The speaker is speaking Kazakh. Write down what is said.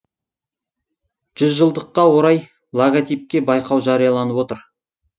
жүз жылдыққа орай логотипке байқау жарияланып отыр